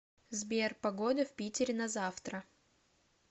сбер погода в питере на завтра